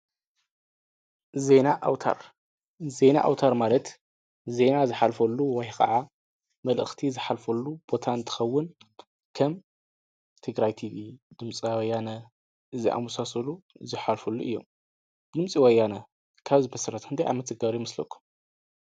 ዜና ኣውታር! ዜና ኣውታር ማለት ዜና ዝሓልፈሉ ወይ ከዓ መልእኽቲ ዝሓልፈሉ ቦታ እንትከውን ከም ትግሪይ ቲቪ ድምፂ ወያነ ዝአመሳሰሉ ዝሓልፍሉ እዪ። ድምፂ ወያነ ካብ ዝምስረት ክንደይ ዓመት ዝገብረ ይመስለኩም?